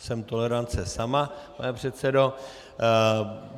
Jsem tolerance sama, pane předsedo.